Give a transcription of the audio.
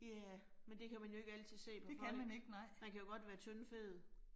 Ja, men det kan man jo ikke altid se på folk. Man kan jo godt være tyndfed